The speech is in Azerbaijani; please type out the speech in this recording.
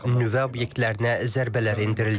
Nüvə obyektlərinə zərbələr endirildi.